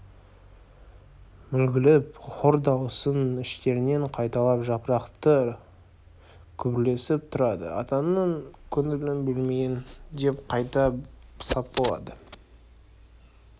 мүлгіп хор дауысын іштерінен қайталап жапырақтары күбірлесіп тұрады атаның көңілін бөлмейін деп қайта сап болды